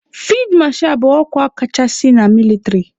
Fid masha bụ ọkwa kachasị na mịlịtrị.